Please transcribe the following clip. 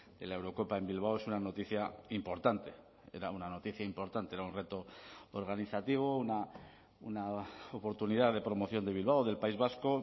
de la eurocopa en bilbao es una noticia importante era una noticia importante era un reto organizativo una oportunidad de promoción de bilbao del país vasco